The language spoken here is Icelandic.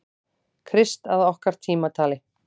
Krist að okkar tímatali.